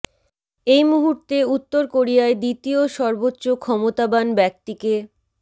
এই মুহূর্তে উত্তর কোরিয়ায় দ্বিতীয় সর্বোচ্চ ক্ষমতাবান ব্যক্তি কে